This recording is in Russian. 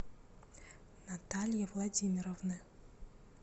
натальи владимировны